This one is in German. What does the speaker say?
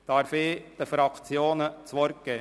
Darf ich den Fraktionen das Wort geben?